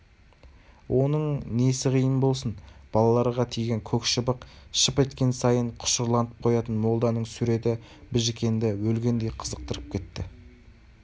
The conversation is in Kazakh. оның несі қиын болсын балаларға тиген көк шыбық шып еткен сайын құшырланып қоятын молданың суреті біжікенді өлгендей қызықтырып кетті